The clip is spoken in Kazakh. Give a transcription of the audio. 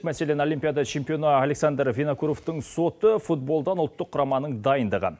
мәселен олимпиада чемпионы александр венакуровтың соты футболдан ұлттық құраманың дайындығы